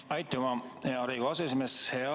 Aitüma, hea Riigikogu aseesimees!